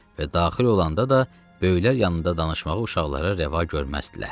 Və daxil olanda da böyüklər yanında danışmağa uşaqlara rəva görməzdilər.